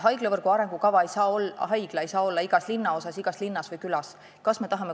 Haiglavõrgu arengukava haigla ei saa olla igas linnaosas, linnas või külas.